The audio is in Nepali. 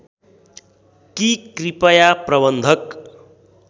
कि कृपया प्रबन्धक